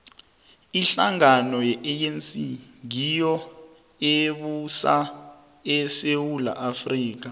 ihlangano ye anc ngiyo ebusa isewula afrika